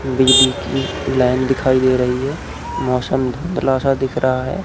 बिजली की लाइन दिखाई दे रही है मौसम धुंधला सा दिख रहा है।